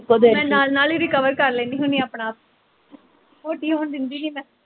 ਮੈਂ ਨਾਲ਼ ਨਾਲ਼ ਈ recover ਕਰ ਲੈਂਦੀ ਹੁੰਦੀ ਆਪਣਾ ਆਪ ਮੋਟੀ ਹੋਣ ਦਿੰਦੀ ਨੀ ਮੈਂ